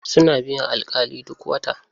Suna biyan alƙali duk wata.